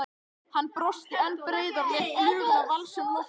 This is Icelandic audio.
Hann brosti enn breiðar og lét fluguna valsa um loftin.